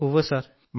ഉവ്വ് സർ